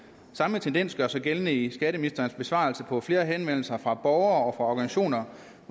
samme tendens gør sig gældende i skatteministerens besvarelse på flere henvendelser fra borgere og organisationer